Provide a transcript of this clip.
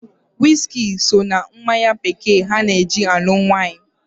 Wiski so na mmanya bekee ana-eji alụ nwaanyị.